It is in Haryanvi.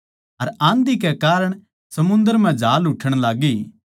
अर आंधी कै कारण समुन्दर म्ह झांल उठ्ठण लाग्गी